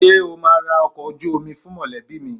Ṣé o máa ra ọkọ̀ ojú omi fún mọ̀lẹ́bí mi?